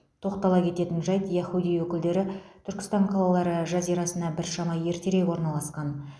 тоқтала кететін жайт яхудей өкілдері түркістан қалалары жазирасына біршама ертерек орналасқан